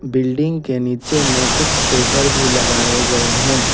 Building के नीचे में कुछ सेटर भी लगाए गए हैं।